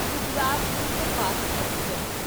Gujarat superfast express